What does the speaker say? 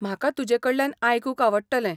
म्हाका तुजेकडल्यान आयकूंक आवडटलें.